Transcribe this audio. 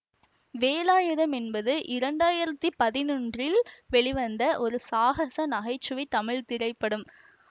வேலாயுதம் என்பது இரண்டு ஆயிரத்தி பதினொன்றில் வெளிவந்த ஒரு சாகச நகை சுவை தமிழ் திரைப்படம்